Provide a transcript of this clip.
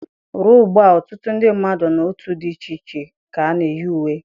Ruo ugbu a, ọtụtụ ndị mmadụ na otu dị iche iche ka na-eyi uwe.